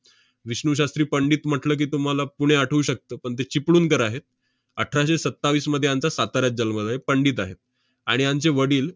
विष्णू शास्त्री पंडित म्हटलं की, तुम्हाला पुणे आठवू शकतं, पण ते चिपळूणकर आहेत. अठराशे सत्तावीसमध्ये यांचा साताऱ्यात जन्म झा~ पंडित आहेत. आणि यांचे वडील